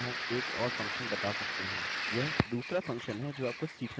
यह दूसरा फंक्शनfunction है जो आपको सीखना चाहिए